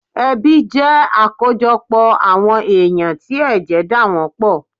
Ẹbí jẹ́ àkójọpọ̀ àwọn èyàn tí ẹ̀jẹ̀ dà wọ́n pọ̀